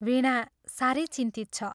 वीणा साह्रै चिन्तित छ।